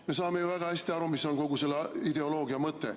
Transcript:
Me saame ju väga hästi aru, mis on kogu selle ideoloogia mõte.